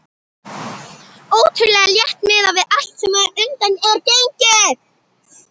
Ótrúlega létt miðað við allt sem á undan er gengið.